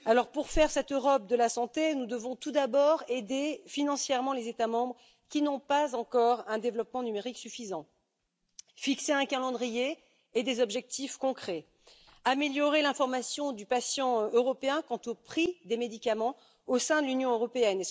Pour faire cette Europe de la santé, nous devons tout d'abord aider financièrement les États membres qui n'ont pas encore un développement numérique suffisant, fixer un calendrier et des objectifs concrets, améliorer l'information du patient européen quant au prix des médicaments au sein de l'Union européenne.